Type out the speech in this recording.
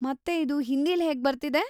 ಮತ್ತೆ ಇದು ಹಿಂದೀಲ್ ಹೇಗ್ ಬರ್ತಿದೆ?